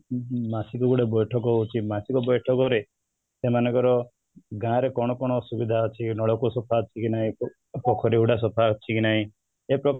ମାସ କୁ ଗୋଟେ ବୈଠକ ହଉଛି ମାସିକ ବୈଠକ ରେ ସେମାନଙ୍କର ଗାଁ ରେ କ'ଣ କ'ଣ ଅସୁବିଧା ଅଛି ନଳକୂପ ସଫା ଅଛି କି ନାହିଁ ପୋଖରୀ ହୁଡ଼ା ସଫା ଅଛି କି ନାହିଁ ଏପରି